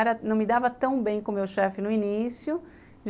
Eu não me dava tão bem com o meu chefe no início.